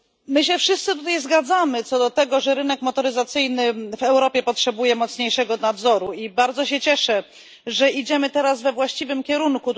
My się wszyscy tutaj zgadzamy co do tego, że rynek motoryzacyjny w Europie potrzebuje mocniejszego nadzoru, i bardzo się cieszę, że idziemy teraz we właściwym kierunku.